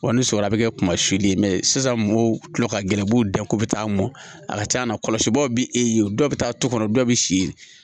ni sɔli a bi kɛ kuma si de ye sisan mɔgɔw tila ka gɛlɛn n'u dan ko bɛ taa mɔn a ka c'a na kɔlɔsibaw bɛ e ye dɔ bɛ taa du kɔnɔ dɔw bɛ si